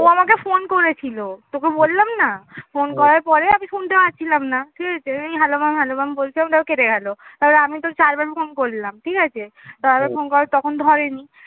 ও আমাকে phone করেছিল, তোকে বললাম না phone করার পরে আমি শুনতে পাচ্ছিলাম না ঠিক আছে? আমি hello mam hello mam বলছি তারপর কেটে গেলো তারপর আমি তো চারবার phone করলাম ঠিক আছে? তো আবার phone করে তখন ধরেনি